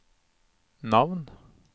navn